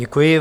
Děkuji.